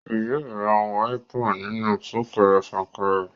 Yóò ra wáípà nínú súkẹrẹ fàkẹrẹ